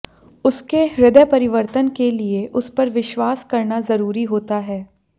उसके हृदय परिवर्तन के लिए उस पर विश्वास करना जरूरी होता है